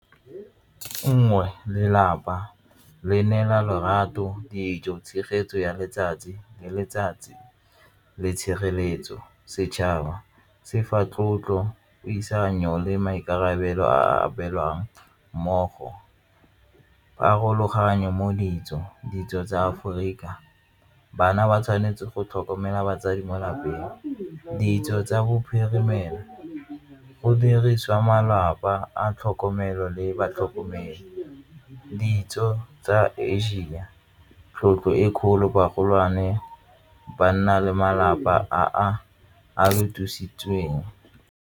Nngwe, lelapa le neela lorato, dijo, tshegetso ya letsatsi le letsatsi le tshireletso. Setšhaba se fa tlotlo, puisano le maikarabelo a abelwang mmogo pharologanyo mo ditso ditso tsa Aforika bana ba tshwanetse go tlhokomela batsadi mo lapeng. Ditso tsa bophirimelo go dirisiwa malapa a tlhokomelo le batlhokomelo, ditso tsa Asia di lebile tlotlo e kgolo bana le malapa a a .